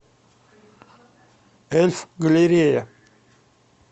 эльф галерея